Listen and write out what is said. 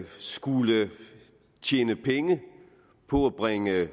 skulle tjene penge på at bringe